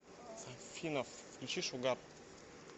афина включи шугар